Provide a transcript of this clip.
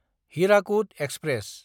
Hirakud express